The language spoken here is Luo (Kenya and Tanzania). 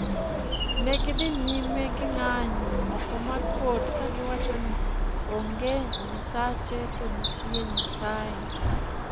negidhi nyime gi ng'anyo oko mar kot kagiwacho ni ''onge nyasache to nitie Nyasaye''